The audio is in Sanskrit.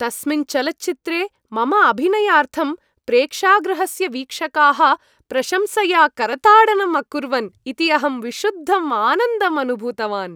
तस्मिन् चलच्चित्रे मम अभिनयार्थं प्रेक्षागृहस्य वीक्षकाः प्रशंसया करताडनं अकुर्वन् इति अहं विशुद्धं आनन्दम् अनुभूतवान्।